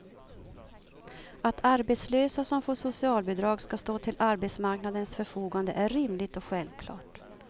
Att arbetslösa som får socialbidrag ska stå till arbetsmarknadens förfogande är rimligt och självklart.